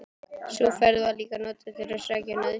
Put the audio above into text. Sú ferð var líka notuð til að sækja nauðsynjar.